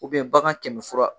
bagan kɛmɛ fura.